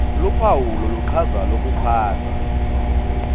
luphawu loluchaza lokuphatsa